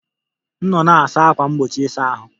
M nọ na-asa ákwà mgbochi ịsa ahụ